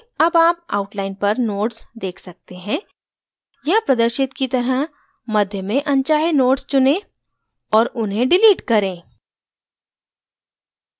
अब आप outline पर nodes देख सकते हैं यहाँ प्रदर्शित की तरह मध्य में अनचाहे nodes चुनें और उन्हें डिलीट करें